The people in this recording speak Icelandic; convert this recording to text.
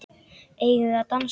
Eigum við að dansa?